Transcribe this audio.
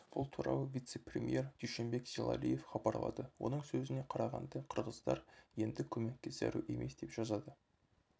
бұл туралы вице-премьер дуйшенбек зилалиев хабарлады оның сөзіне қарағанда қырғыздар енді көмекке зәру емес деп жазады